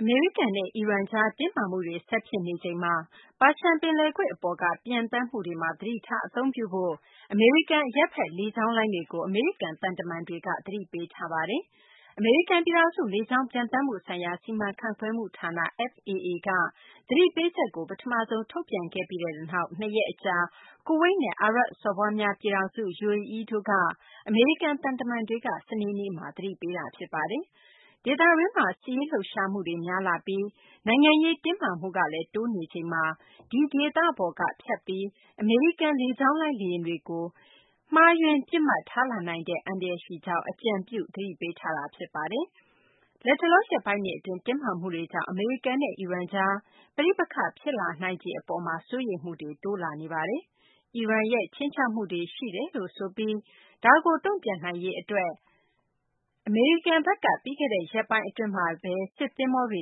အမေရိကန်နဲ့ အီရန်ကြား တင်းမာမှုတွေ ဆက်ဖြစ်နေချိန်မှာ ပါရှန် ပင်လယ်ကွေ့ အပေါ်က ပံျသန်းမှုတွေမှာ သတိထား အသုံးပြုဖို့ အမေရိကန် အရပ်ဖက် လေကြောင်းလိုင်းတွေကို အမေရိကန် သံတမန်တွေက သတိပေးထားပါတယ်။ အမေရိကန် ပြည်ထောင်စု လေကြောင်းပျံသန်းမှုဆိုင်ရာ စီမံခန့်ခွဲမှုဌာန FAA က သတိပေးချက်ကို ပထမဆုံး ထုတ်ပြန်ခဲ့ပြီးနောက် နှစ်ရက် အကြာမှာ ကူဝိတ်နဲ့ အာရပ်စော်ဘွားများ ပြည်ထောင်စု UAE တို့က အမေရိကန် သံတမန်တွေက စနေနေ့မှာ သတိပေးလိုက်တာ ဖြစ်ပါတယ်။ ဒေသတွင်းမှာ စစ်ရေးလှုပ်ရှားမှုတွေ များလာပြီး နိုင်ငံရေး တင်းမာမှုကလည်း တိုးနေချိန်မှာ ဒီဒေသပေါ်က ဖြတ်ပြီး အမေရိကန် လေကြောင်းလိုင်း လေယာဉ်တွေကို မှားယွင်းပြီး ပစ်မှတ်ထားလာနိုင်တဲ့ အန္တရာယ်ရှိကြောင်း အကြံပြု သတိပေးထားတာ ဖြစ်ပါတယ်။ လတ်တလော ရက်ပိုင်းတွေ အတွင်း တင်းမာမှုတွေကြောင့် အမေရိကန်နဲ့ အီရန်ကြား ပဋိပက္ခ ဖြစ်လာနိုင်ခြေ အပေါ်မှာ စိုးရိမ်မှုတွေ တိုးလာနေပါတယ်။ အီရန်ရဲ့ ခြိမ်းခြောက်မှုတွေ ရှိတယ်လို့ ဆိုပြီး ဒါကို တုံ့ပြန်နိုင်ရေး အတွက် အမေရိကန်ဘက်က ပြီးခဲ့တဲ့ ရက်ပိုင်း အတွင်းမှာဘဲ စစ်သဘောၤတွေ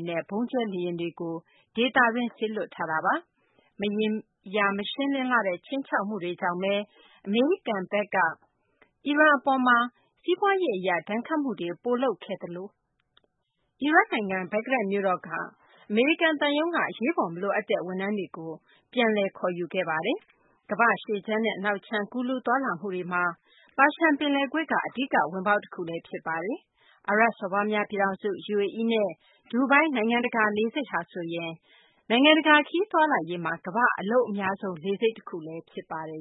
နဲ့ ဗုံးကျဲလေယာဉ်တွေကို ဒေသတွင်း စေလွှတ်ထားပါတယ်။ မရေရာ မရှင်းလင်းလှတဲ့ ခြိမ်းခြောက်မှုတွေကြောင့်ဘဲ အမေရိကန်ဘက်က အီရန် အပေါ်မှာ စီးပွားရေး အရ ဒဏ်ခတ်မှုတွေ ပိုလုပ်ခဲ့သလို အီရတ်နိုင်ငံ ဘဂ္ဂဒက်မြို့တော်က အမေရိကန် သံရုံးက အရေးပေါ် မလိုအပ်တဲ့ ဝန်ထမ်းတွေကို ပြန်လည် ခေါ်ယူခဲ့ပါတယ်။ ကမ္ဘာ့ အရှေ့ခြမ်းနဲ့ အနောက်ခြမ်း ကူးလူးသွားလာမှုတွေမှာ ပါရှန် ပင်လယ်ကွေ့က အဓိက ဝင်ပေါက်တခုလည်း ဖြစ်ပါတယ်။ အာရပ်စော်ဘွားများပြည်ထောင်စု UAE ရဲ့ ဒူဘိုင်း နိုင်ငံတကာ လေဆိပ်ဟာဆိုရင် နိုင်ငံတကာ ခရီးသွားလာရေးမှာ ကမ္ဘာ့ အလုပ်အများဆုံး လေဆိပ်တခု ဖြစ်ပါတယ်